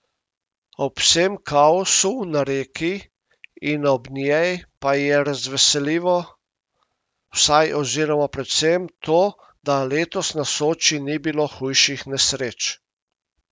Ob vsem kaosu na reki in ob njej pa je razveseljivo vsaj oziroma predvsem to, da letos na Soči ni bilo hujših nesreč.